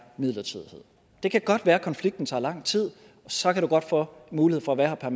midlertidighed det kan godt være at konflikten tager lang tid og så kan du godt få mulighed for at være her